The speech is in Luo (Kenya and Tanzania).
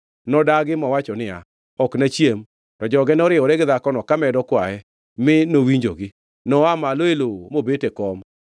Nodagi mowacho niya, “Ok nachiem.” To joge noriwore gi dhakono kamedo kwaye, mi nowinjogi. Noa malo e lowo mobet e kom.